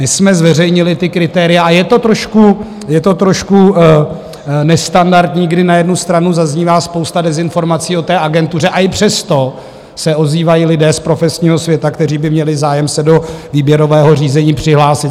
My jsme zveřejnili ta kritéria a je to trošku nestandardní, kdy na jednu stranu zaznívá spousta dezinformací o té agentuře, a i přesto se ozývají lidé z profesního světa, kteří by měli zájem se do výběrového řízení přihlásit.